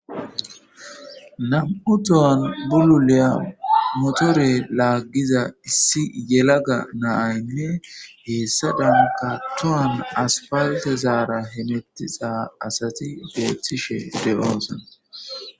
Namu'u tohoni bululiya motore lagiza issi yalagga na'ayi deyesi hessadakka tohara asifalitera hemetishe diza assata beyosi.